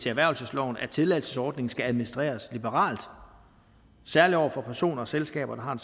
erhvervelsesloven at tilladelsesordningen skal administreres liberalt særlig over for personer og selskaber der har